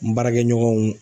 N baarakɛɲɔgɔnw